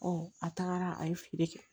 a tagara a ye feere kɛ